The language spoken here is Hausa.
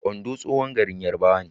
Ondo tsohon garin Yarbawa ne.